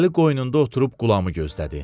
Əli qoynunda oturub qulamı gözlədi.